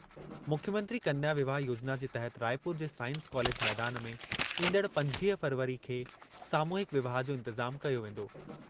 मुख्यमंत्री कन्या विवाह योजना जे तहत रायपुर जे साइंस कॉलेज मैदान में ईंदड़ पंजवीह फ़रवरी खे सामूहिक विवाह जो इंतिज़ामु कयो वेंदो।